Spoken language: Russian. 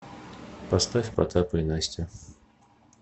поставь потапа и настю